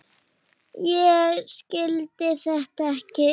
Ég skildi þetta ekki.